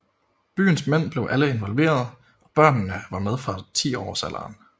Byens mænd blev alle involveret og børnene var med fra tiårsalderen